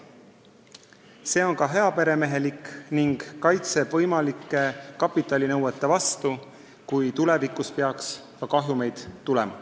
See on ka heaperemehelik ning kaitseb võimalike kapitalinõuete eest, kui tulevikus peaks ka kahjumeid tulema.